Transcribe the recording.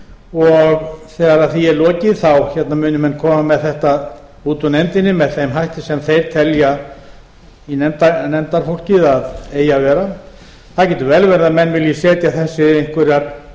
og þegar því er lokið munu menn koma með þetta út úr nefndinni með þeim hætti sem nefndarfólkið telji að eigi að vera það getur vel verið að menn vilji setja þetta í einhverjar